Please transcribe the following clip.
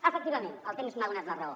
efectivament el temps m’ha donat la raó